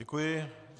Děkuji.